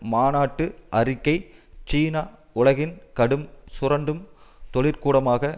மாநாட்டு அறிக்கை சீனா உலகின் கடும் சுரண்டும் தொழிற்கூடமாக